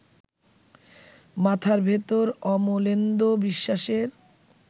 মাথার ভেতর অমলেন্দু বিশ্বাসের